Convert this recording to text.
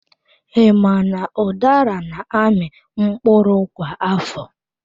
I ma na udara na-amị mkpụrụ kwa afọ?